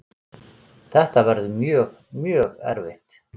Þetta verður mjög, mjög erfitt.